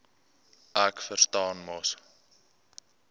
ek verstaan mos